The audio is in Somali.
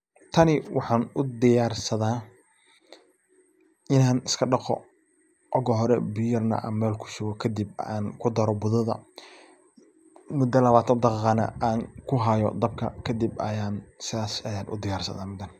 Tani waxaan u diyarsada inan iska dhaqo oga hore biya macaan mel kushubo kadib aan kudaro gududac muda labaatan daqiiqana aan kuhayo dabka kadib ayan sas ayan u diyarsada.